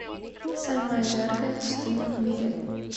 самая жаркая пустыня в мире